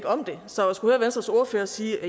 om det så at skulle høre venstres ordfører sige at